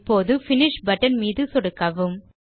இப்போது finish button மீது சொடுக்கவும்